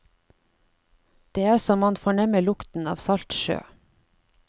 Det er så man fornemmer lukten av salt sjø.